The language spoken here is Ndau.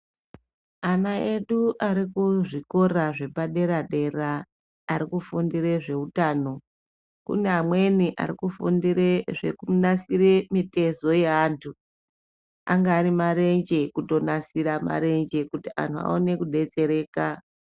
Ana edu arikuzvikora zvepaderadera, arikufundire zvehutano, kune amweni arikufundire zvekunasire mitezo yeantu, angave marenje kuto nasira marenje kuti anhu vawane kudetsereka.